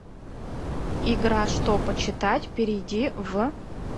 игра что почитать перейди в